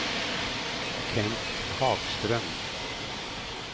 Kent Hagström